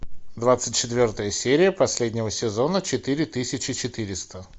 двадцать четвертая серия последнего сезона четыре тысячи четыреста